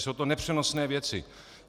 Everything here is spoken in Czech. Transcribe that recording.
Jsou to nepřenosné věci.